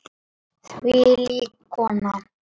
og Hvernig hafa fuglar mök?